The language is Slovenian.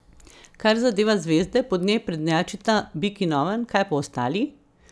Kar zadeva zvezde, po njej prednjačita bik in oven, kaj pa ostali?